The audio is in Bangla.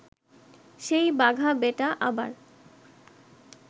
সেই বাঘা বেটা আবার